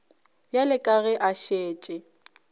bjale ka ge a šetše